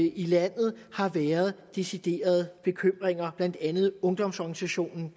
i landet har været decideret bekymring blandt andet i ungdomsorganisationen